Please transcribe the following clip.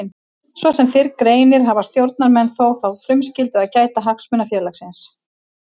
Svo sem fyrr greinir hafa stjórnarmenn þó þá frumskyldu að gæta hagsmuna félagsins.